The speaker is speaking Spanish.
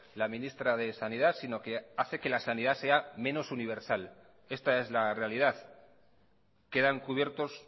la ministra de sanidad si no que hace que la sanidad sea menos universal esta es la realidad quedan cubiertos